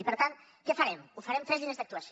i per tant què farem ho farem amb tres línies d’actuació